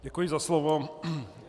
Děkuji za slovo.